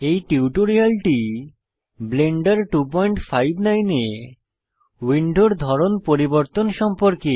এই টিউটোরিয়ালটি ব্লেন্ডার 259 এ উইন্ডোর ধরন পরিবর্তন সম্পর্কে